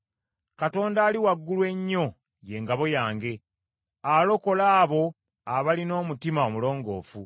Katonda Ali Waggulu Ennyo ye ngabo yange; alokola abo abalina omutima omulongoofu.